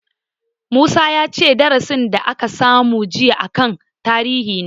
Musa ya ce darasin da aka masu jiya a kan tarihin ne